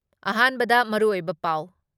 ꯑꯍꯥꯟꯕꯗ ꯃꯔꯨꯑꯣꯏꯕ ꯄꯥꯎ ꯫